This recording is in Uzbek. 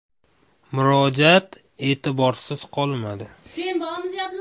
Murojaat e’tiborsiz qolmadi.